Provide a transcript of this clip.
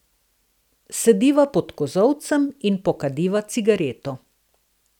Sediva pod kozolcem in pokadiva cigareto.